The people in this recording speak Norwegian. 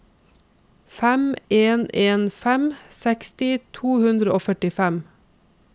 fem en en fem seksti to hundre og førtifem